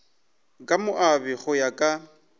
ka moabi go ya ka